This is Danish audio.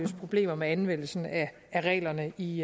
problemer med anvendelsen af reglerne i